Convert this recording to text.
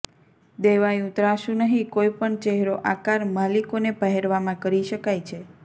દેવાયું ત્રાંસુ નહીં કોઈપણ ચહેરો આકાર માલિકોને પહેરવામાં કરી શકાય છે